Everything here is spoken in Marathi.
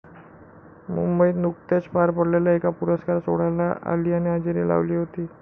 मुंबईत नुकत्याच पार पडलेल्या एका पुरस्कार सोहळ्याला आलियाने हजेरी लावली होती.